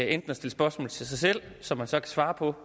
enten at stille spørgsmål til sig selv som han så kan svare på